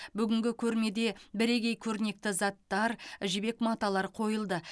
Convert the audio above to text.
бүгінгі көрмеде бірегей көрнекті заттар жібек маталар қойылды